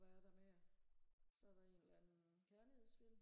hvad er der mere så er der en eller anden kærlighedsfilm